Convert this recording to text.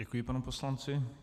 Děkuji panu poslanci.